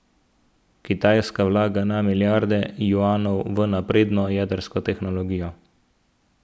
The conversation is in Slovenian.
Kitajska vlaga na milijarde juanov v napredno jedrsko tehnologijo.